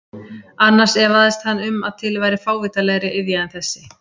Annars efaðist hann um að til væri fávitalegri iðja en þessi.